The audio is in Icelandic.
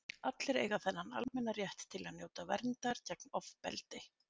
allir eiga þennan almenna rétt til að njóta verndar gegn ofbeldi